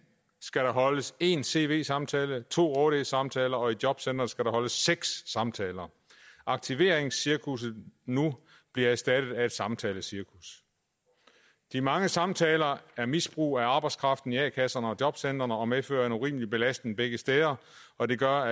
skal der holdes én cv samtale og to årlige samtaler og i jobcenteret skal der holdes seks samtaler aktiveringscirkusset nu bliver erstattet af et samtalecirkus de mange samtaler er misbrug af arbejdskraften i a kasserne og jobcentrene og medfører en urimelig belastning begge steder og det gør